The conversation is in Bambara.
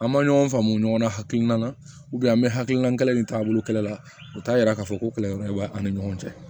An ma ɲɔgɔn faamu ɲɔgɔn na hakilina na an bɛ hakilinakɛla ni taabolo kɛlɛ la u t'a yira k'a fɔ ko kɛlɛyɔrɔ in bɛ ani ɲɔgɔn cɛ